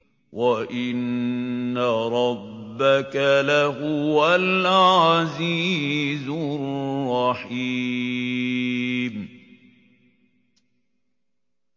وَإِنَّ رَبَّكَ لَهُوَ الْعَزِيزُ الرَّحِيمُ